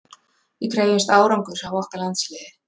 Við krefjumst árangurs af okkar landsliði.